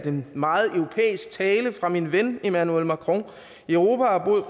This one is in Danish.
en meget europæisk tale fra min ven emmanuel macron europa har brug